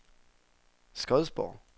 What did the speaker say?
Skodsborg